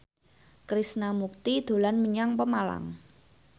Krishna Mukti dolan menyang Pemalang